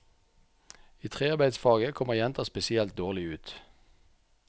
I trearbeidsfaget kommer jenter spesielt dårlig ut.